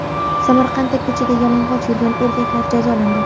Samarqandda ko‘chada yalang‘och yurgan erkaklar jazolandi.